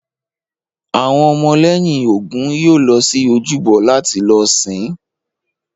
Àwọn ọmọ lẹ́yìn Ògún yóò lọ sí ojúbọ láti lọ sìn-ín